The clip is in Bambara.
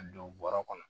Ka don bɔrɔ kɔnɔ